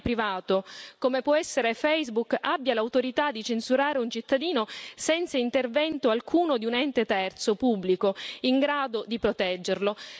un operatore privato, come può essere Facebook, abbia l'autorità di censurare un cittadino senza intervento alcuno di un ente terzo pubblico in grado di proteggerlo.